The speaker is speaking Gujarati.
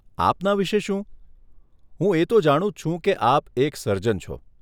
આપના વિષે શું? હું એ તો જાણું જ છું કે આપ એક સર્જન છો.